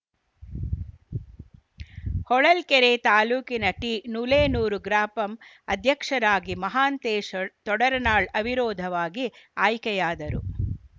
ಹೊಳಲ್ಕೆರೆ ತಾಲೂಕಿನ ಟಿನುಲೇನೂರು ಗ್ರಾಪಂ ಅಧ್ಯಕ್ಷರಾಗಿ ಮಹಾಂತೇಶ್‌ ತೊಡರನಾಳ್‌ ಅವಿರೋಧವಾಗಿ ಆಯ್ಕೆಯಾದರು